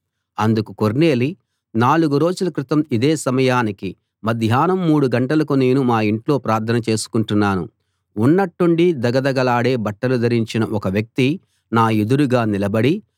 అందుకు కొర్నేలి నాలుగు రోజుల క్రితం ఇదే సమయానికి మధ్యాహ్నం మూడు గంటలకు నేను మా ఇంట్లో ప్రార్థన చేసుకుంటున్నాను ఉన్నట్టుండి ధగధగలాడే బట్టలు ధరించిన ఒక వ్యక్తి నా ఎదురుగా నిలబడి